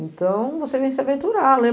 Então, você vem se aventurar, né?